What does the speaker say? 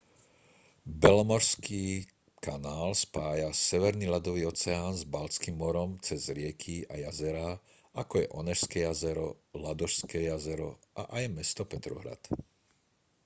belomorský kanál spája severný ľadový oceán s baltským morom cez rieky a jazerá ako je onežské jazero ladožské jazero a aj mesto petrohrad